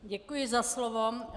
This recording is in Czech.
Děkuji za slovo.